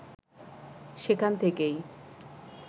সেখান থেকেই